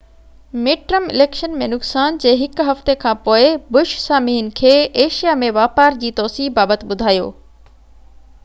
mid term election ۾ نقصان جي هڪ هفتي کانپوءِ بش سامعين کي ايشيا ۾ واپار جي توسيع بابت ٻڌايو